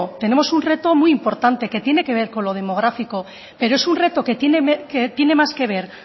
tenemos un reto muy importante que tiene que ver con lo demográfico pero es un reto que tiene más que ver